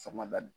Sɔngɔ da